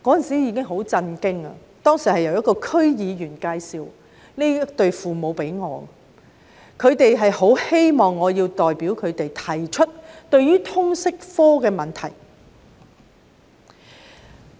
這對父母當時是由一名區議員介紹給我認識的，他們很希望我可以代表他們提出有關通識科的問題。